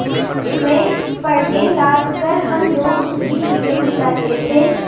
में पण्य लाद कर हम लोग सुखी जीवन बिताते थे